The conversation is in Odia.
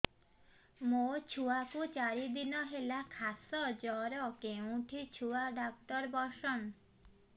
ମୋ ଛୁଆ କୁ ଚାରି ଦିନ ହେଲା ଖାସ ଜର କେଉଁଠି ଛୁଆ ଡାକ୍ତର ଵସ୍ଛନ୍